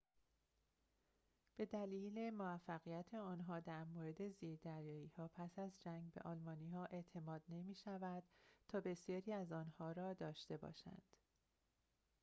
به دلیل موفقیت آنها در مورد زیردریایی‌ها پس از جنگ به آلمانی‌ها اعتماد نمی‌شود تا بسیاری از آن‌ها را داشته باشند